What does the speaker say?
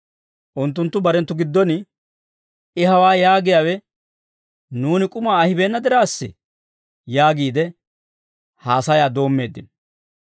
Unttunttu barenttu giddon, «I hawaa yaagiyaawe nuuni k'umaa ahibeena diraassa» yaagiide haasayaa doommeeddino.